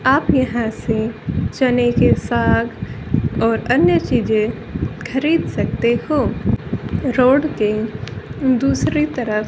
आप यहां से चने के साग और अन्य चीजें खरीद सकते हो रोड के दूसरी तरफ--